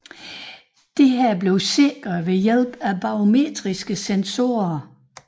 Dette blev sikret ved hjælp af barometriske sensorer